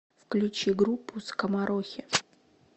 включи группу скоморохи